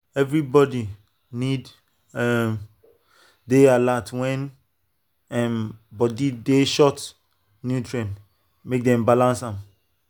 everybody need um dey alert when um body dey short nutrient make dem balance am.